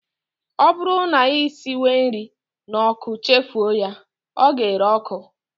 Ọ bụrụ na ị siwe nri n'ọkụ chefuo ya, ọ ga-ere ọkụ